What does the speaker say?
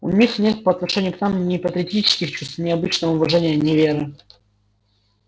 у них нет по отношению к нам ни патриотических чувств ни обычного уважения ни веры